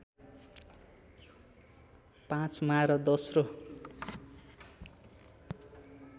५ मा र दोस्रो